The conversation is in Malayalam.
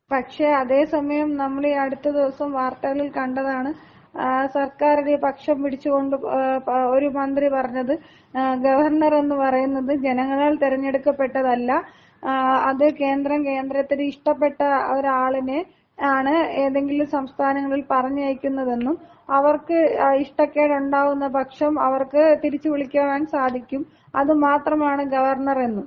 പക്ഷേ അതേസമയം നമ്മള് ഈ അടുത്ത സമയം വാർത്തകളിൽ കണ്ടതാണ് സർക്കാരിന്‍റെ പക്ഷം പിടിച്ചുകൊണ്ട് ഒരു മന്ത്രി പറഞ്ഞത്, ഗവർണർ എന്ന് പറയുന്നത് ജനങ്ങളാല്‍ തിരഞ്ഞെടുക്കപ്പെട്ടതല്ല. അത് കേന്ദ്രം കേന്ദ്രത്തിന്‍റെ ഇഷ്ട്ടപ്പെട്ട ഒരാളിനെയാണ് ഏതെങ്കിലും ഒരു സംസ്ഥാനങ്ങളിൽ പറഞ്ഞയക്കുന്നത് എന്നും അവർക്ക് ഇഷ്ടക്കേട് ഉണ്ടാകുന്ന പക്ഷം അവർക്ക് തിരിച്ചു വിളിക്കുവാൻ സാധിക്കാൻ സാധിക്കും അത് മാത്രമാണ് ഗവർണർ എന്നും.